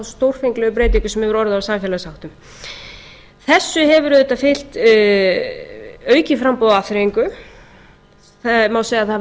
stórfenglegu breytingar sem hafa orðið á samfélagsháttum þessu hefur auðvitað fylgt aukið framboð af afþreyingu það má segja að það hafi